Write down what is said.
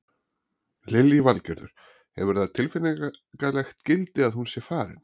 Lillý Valgerður: Hefur það tilfinningalegt gildi að hún sé farin?